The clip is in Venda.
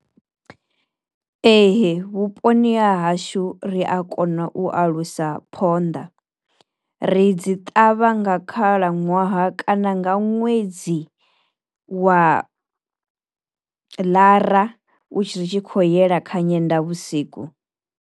Ee vhuponi ha hashu ri a kona u alusa phonḓa, ri dzi ṱavha nga khalaṅwaha kana nga ṅwedzi wa ḽara u tshi ritshi kho yela kha nyenda vhusiku.